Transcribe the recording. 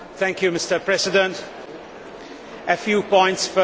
Mr President, a few points first.